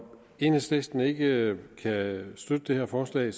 enhedslisten ikke kan støtte det her forslag